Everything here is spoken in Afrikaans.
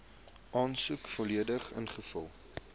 aansoek volledig ingevul